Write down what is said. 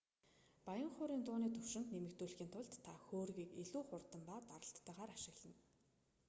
баян хуурын дууны түвшинг нэмэгдүүлэхийн тулд та хөөргийг илүү хурд ба даралттайгаар ашиглана